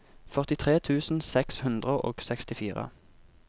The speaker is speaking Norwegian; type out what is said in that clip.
førtitre tusen seks hundre og sekstifire